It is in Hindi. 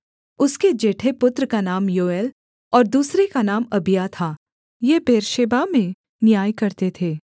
उसके जेठे पुत्र का नाम योएल और दूसरे का नाम अबिय्याह था ये बेर्शेबा में न्याय करते थे